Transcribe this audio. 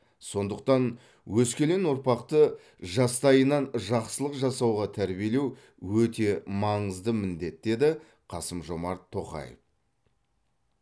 сондықтан өскелең ұрпақты жастайынан жақсылық жасауға тәрбиелеу өте маңызды міндет деді қасым жомарт тоқаев